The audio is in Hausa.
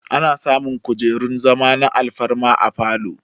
Ana samun kujerun zama na alfarma a falow